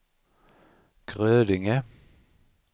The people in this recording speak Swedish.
Grödinge